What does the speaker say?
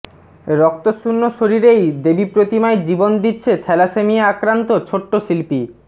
রক্তশূন্য শরীরেই দেবী প্রতিমায় জীবন দিচ্ছে থ্যালাসেমিয়া আক্রান্ত ছোট্ট শিল্পী